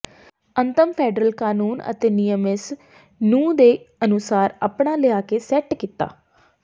ਅੰਤਮ ਫੈਡਰਲ ਕਾਨੂੰਨ ਅਤੇ ਨਿਯਮ ਇਸ ਨੂੰ ਦੇ ਅਨੁਸਾਰ ਅਪਣਾ ਲਿਆ ਕੇ ਸੈੱਟ ਕੀਤਾ